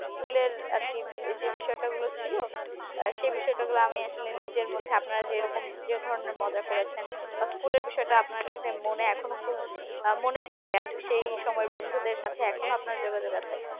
school এর আরকি যে বিষয়টা ছিল আহ সেই বিষয়টা হলো আমি আসলে নিজের মত আপনারা যে রকম যে ধরনের মজা করেছেন বা school এর বিষয়টা আপনার কাছে মনে বা এখনো খুব আহ মনে পড়ে সেই সময়ের বন্ধুদের সাথে এখনো যোগাযোগ আছে